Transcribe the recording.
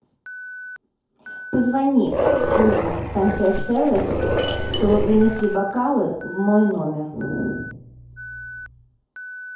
позвони в службу консьерж сервис чтобы принесли бокалы в мой номер